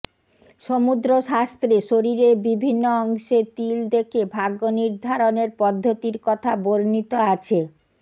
সমুদ্র শাস্ত্রে শরীরের বিভিন্ন অংশে তিল দেখে ভাগ্য নির্ধারণের পদ্ধতির কথা বর্ণিত আছে